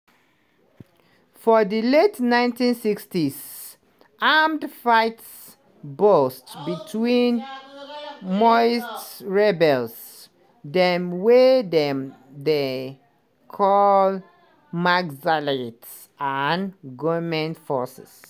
for di late 1960s armed fight burst between maoist rebels – dem wey dem dey call naxalites – and goment forces.